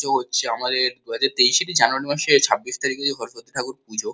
হচ্ছে আমাদের দু হাজার তেইশের জানুয়ারি মাসে ছাব্বিশ তারিখে যে সরস্বতী ঠাকুর পূজো।